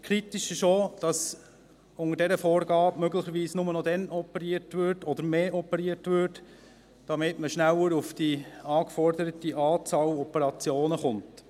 Kritisch ist auch, dass unter dieser Vorgabe noch mehr operiert würde, damit man schneller auf die geforderte Anzahl Operationen kommt.